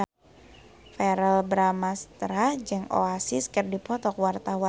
Verrell Bramastra jeung Oasis keur dipoto ku wartawan